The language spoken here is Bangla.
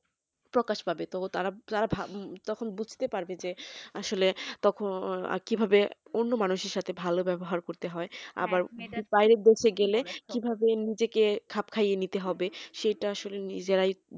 প্রকাশ পাবে তো তারা প্লাভা তখন বুঝতে পারবে যে আসলে তখন আর কিভাবে অন্য মানুষের সাথে ভালো ব্যবহার করতে হয় আবার বাইরের দেশে গেলে কিভাবে নিজেকে খাপ খাইয়ে নিতে হবে সেটা আসলে নিজেরাই